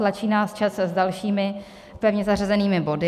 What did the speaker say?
Tlačí nás čas s dalšími pevně zařazenými body.